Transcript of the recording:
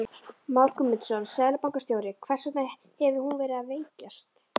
Már Guðmundsson, seðlabankastjóri: Hvers vegna hefur hún verið að veikjast?